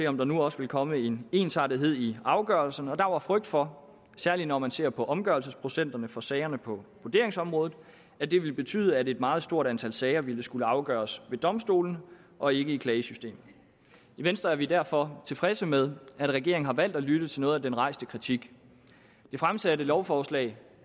om der nu også ville komme en ensartethed i afgørelserne og der var frygt for særlig når man ser på omgørelsesprocenterne for sagerne på vurderingsområdet at det ville betyde at et meget stort antal sager ville skulle afgøres ved domstolene og ikke i klagesystemet i venstre er vi derfor tilfredse med at regeringen har valgt at lytte til noget af den rejste kritik det fremsatte lovforslag